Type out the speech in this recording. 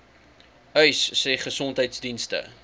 uys sê gesondheidsdienste